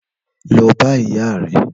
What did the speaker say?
Lò bà ìyá rè